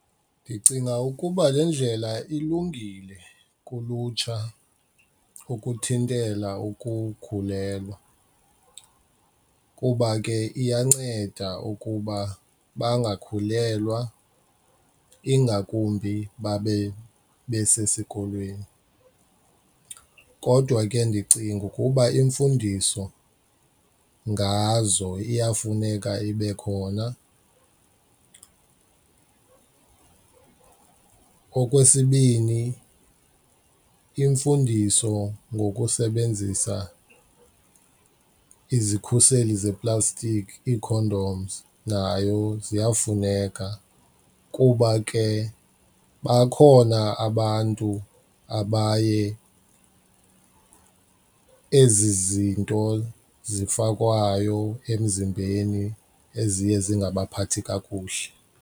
Ndicinga ukuba le ndlela ilungile kulutsha ukuthintela ukukhulelwa kuba ke iyanceda ukuba bangakhulelwa ingakumbi babe besesikolweni kodwa ke ndicinga ukuba imfundiso ngazo iyafuneka ibe khona. Okwesibini, imfundiso ngokusebenzisa izikhuseli seplastiki ii-condoms nayo ziyafuneka kuba ke bakhona abantu abaye ezi zinto zifakwayo emzimbeni eziye zingabaphathi kakuhle.